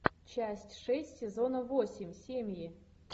часть шесть сезона восемь семьи